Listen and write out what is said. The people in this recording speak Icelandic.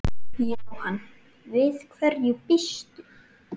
Jóhann: Við hverju býstu?